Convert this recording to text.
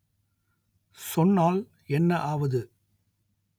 சொன்னால் என்ன ஆவது